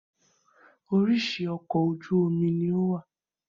Orísìí ọkọ̀ ojú omi ní ó wà